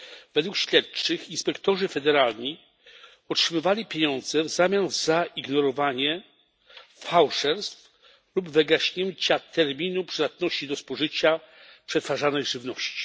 Według śledczych inspektorzy federalni otrzymywali pieniądze w zamian za ignorowanie fałszerstw lub wygaśnięcia terminu przydatności do spożycia przetwarzanej żywności.